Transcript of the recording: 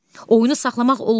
Oyunu saxlamaq olmaz.